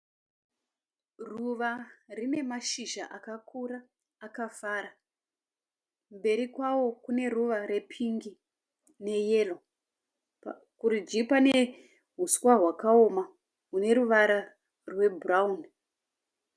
Ruva rine mashizha akakura akafara. Mberi kwavo kune ruva rwepingi neyero. Kurudyi pane uswa hwakaoma hune ruvara rwebhurauni.